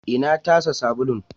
Ina tasa sabulun?